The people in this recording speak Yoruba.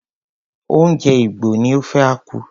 Oúnjẹ Igbo ni ofe akwu.